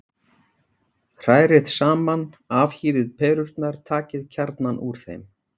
Hrærið saman Afhýðið perurnar, takið kjarnann úr þeim.